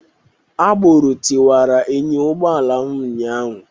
Agboro tiwara enyo ụgbọala m ụnyaahụ